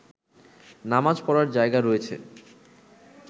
নামাজ পড়ার জায়গা রয়েছে